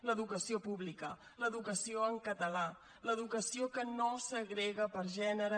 l’educació pública l’educació en català l’educació que no segrega per gènere